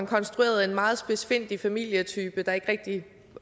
konstrueret en meget spidsfindig familietype der ikke rigtig